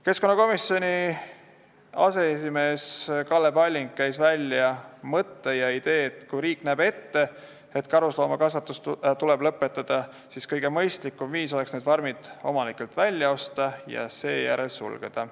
Keskkonnakomisjoni aseesimees Kalle Palling käis välja mõtte ja idee, et kui riik näeb ette, et karusloomakasvatus tuleb lõpetada, siis kõige mõistlikum viis oleks farmid omanikelt välja osta ja seejärel sulgeda.